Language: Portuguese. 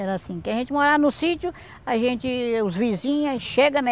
Era assim, que a gente morava no sítio, a gente, os vizinhos, chega, né?